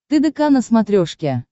тдк на смотрешке